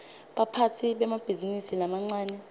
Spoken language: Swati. baphatsi bemabhizinisi lamancane